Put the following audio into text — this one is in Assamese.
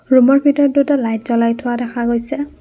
ৰূমৰ ভিতৰত দুটা লাইট জ্বলাই থোৱা দেখা গৈছে।